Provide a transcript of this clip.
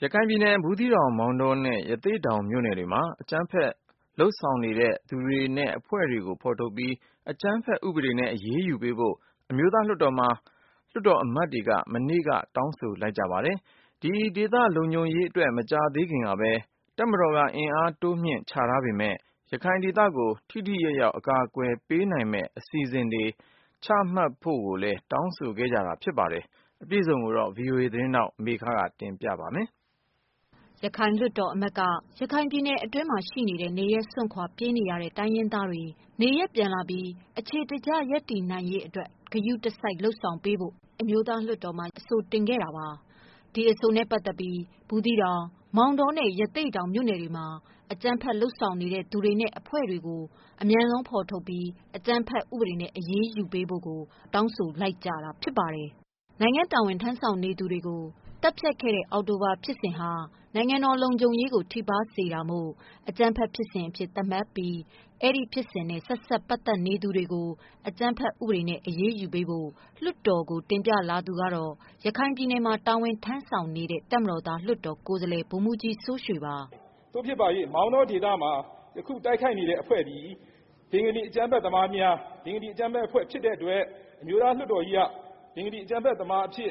ရခိုင်ပြည်နယ်ထဲက မြို့နယ် ၃ ခု ဖြစ်တဲ့ ဘူးသီးတောင်၊ မောင်တောနဲ့ ရသေ့တောင် မြို့နယ်တွေမှာ အကြမ်းဖက် လုပ်ဆောင်နေတဲ့ သူတွေနဲ့ အဖွဲ့တွေကို ဖော်ထုတ်ပြီး အကြမ်းဖက် ဥပဒေနဲ့ အရေးယူပေးဖို့ အမျိုးသား လွှတ်တော်မှာ လွှတ်တော်အမတ်တွေက မနေ့က တောင်းဆို လိုက်ကြပါတယ်။ ဒီဒေသ လုံခြုံရေးအတွပ် တပ်မတော်က မကြာသေးခင်ကဘဲ အင်အား တိုးမြှင့် ချပေးထားပေမယ့် ရခိုင်ဒေသကို ထိထိရောက်ရောက် အကာအကွယ် ပေးနိုင်မယ့် အစီအစဉ်တွေ ချမှတ်ဖို့ အတွက် တောင်းဆိုကြတာ ဖြစ်ပါတယ်။ အပြည့်အစုံကို ဗွီအိုအေ မြန်မာပိုင်းက မေခက တင်ပြမှာပါ။ ရခိုင်လွှတ်တော်အမတ်က ရခိုင်ပြည်နယ် အတွင်းရှိ နေရပ်စွန့်ခွာ ပြေးနေရတဲ့ တိုင်းရင်းသားတွေ နေရပ်ပြန်လာပြီး ရပ်တည်နိုင်ရေးနဲ့ အခြေတကျ ရပ်တည်နိုင်ရေး အတွက် ဂရုတစိုက် လုပ်ဆောင်ပေးဖို့ အမျိုးသား လွှတ်တော်မှာ အဆိုတင်ခဲ့တာပါ။ ဒီအဆိုနဲ့ ပတ်သတ်ပြီး ဘူးသီးတောင်၊ မောင်တောနဲ့ ရသေ့တောင် မြို့နယ်တွေမှာ အကြမ်းဖက် လုပ်ဆောင်နေတဲ့ သူတွေနဲ့ အဖွဲ့တွေကို အမြန်ဆုံး ဖော်ထုတ်ပြီး အကြမ်းဖက် ဥပဒေနဲ့ အရေးယူပေးဖို့ အခုလို တောင်းဆိုလိုက်ကြတာ ဖြစ်ပါတယ်။ နိုင်ငံ့တာဝန် ထမ်းဆောင်နေသူတွေကို သတ်ဖြတ်ခဲ့တဲ့ အောက်တိုဘာ ဖြစ်စဉ်ဟာ နိုင်ငံတော် လုံခြုံရေးကို ထိပါးစေတာမို့ အကြမ်းဖက် ဖြစ်စဉ်အဖြစ် သတ်မှတ်ပြီး အဲဒီဖြစ်စဉ်နဲ့ ဆက်စပ် ပတ်သတ်နေသူတွေကို အကြမ်းဖက် ဥပဒေနဲ့ အရေးယူပေးဖို့ လွှတ်တော်ကို တင်ပြခဲ့သူ ကတော့ ရခိုင်ပြည်နယ်မှာ တာဝန်ထမ်းဆောင်နေတဲ့ တပ်မတော်သား လွှတ်တော် ကိုယ်စားလှယ် ဗိုလ်မှုးကြီး စိုးရွှေ ပါ။ “ သို့ဖြစ်ပါ၍ မောင်းတောဒေသမှာ ယခု တိုက်ခိုက်နေတဲ့ အဖွဲ့သည် ဘင်္ဂလီ အကြမ်းဖက်သမားများ၊ ဘင်္ဂလီ အကြမ်းဖက်အဖွဲ့ဖြစ်တဲ့အတွက်၊ အမျိုးသားလွှတ်တော်ကြီးက ဘင်္ဂလီ အကြမ်းဖက်သမားအဖြစ်